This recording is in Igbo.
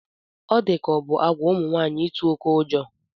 Ọ di ka ọ bụ àgwà ụmụ nwaanyị ịtụ oké ụjọ